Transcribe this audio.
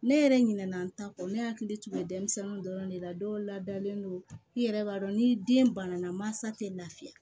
Ne yɛrɛ ɲinɛ na n ta kɔ ne hakili tun bɛ denmisɛnninw dɔrɔn de la dɔw ladalen don i yɛrɛ b'a dɔn ni den banana mansa tɛ lafiya